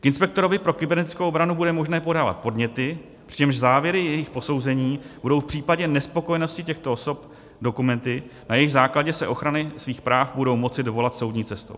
K inspektorovi pro kybernetickou obranu bude možné podávat podněty, přičemž závěry jejich posouzení budou v případě nespokojenosti těchto osob dokumenty, na jejichž základě se ochrany svých práv budou moci dovolat soudní cestou.